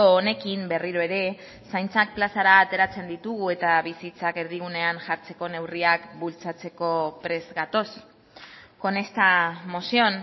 honekin berriro ere zaintzak plazara ateratzen ditugu eta bizitzak erdigunean jartzeko neurriak bultzatzeko prest gatoz con esta moción